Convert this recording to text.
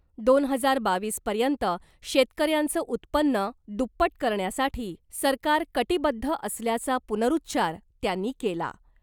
दोन हजार बावीस पर्यंत शेतकऱ्यांचं उत्पन्न दुप्पट करण्यासाठी सरकार कटीबद्ध असल्याचा पुनरुच्चार त्यांनी केला .